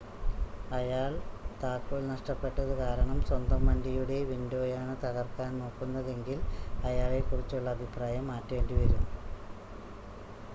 അയാൾ താക്കോൽ നഷ്ടപെട്ടത് കാരണം സ്വന്തം വണ്ടിയുടെ വിൻഡോയാണ് തകർക്കാൻ നോക്കുന്നതെങ്കിൽ അയാളെക്കുറിച്ചുള്ള അഭിപ്രായം മാറ്റേണ്ടിവരും